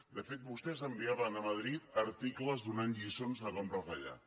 de fet vostès enviaven a madrid articles donant lliçons de com retallar